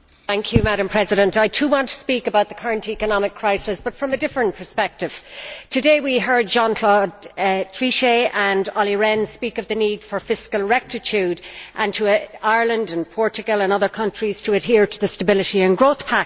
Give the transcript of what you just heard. Madam President, I, too, wish to speak about the current economic crisis, but from a different perspective. Today, we heard Jean Claude Trichet and Olli Rehn speaking of the need for fiscal rectitude and calling on Ireland and Portugal and other countries to adhere to the Stability and Growth Pact.